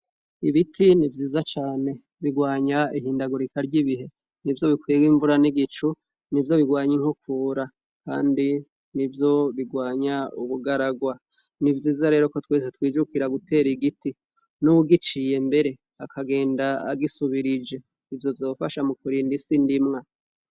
Ibiti ni vyiza cane birwanya ihindagurika ry'ibihe ni vyo bikwere imvura n'igicu ni vyo bigwanya inkukura, kandi ni vyo bigwanya ubugaragwa ni vyiza rero ko twese twijukira gutera igiti n'uwugiciye mbere akagenda agisubirije ivyo vyofasha mu kurindaisi ndimwe.